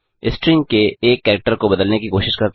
string के एक character को बदलने की कोशिश करते हैं